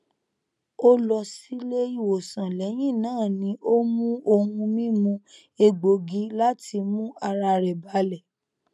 ó lọ sílé ìwòsàn lẹyìn náà ni ó mu ohun mímu egbògi láti mú ara rẹ balẹ